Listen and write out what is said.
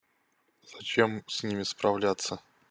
зачем с ними справляться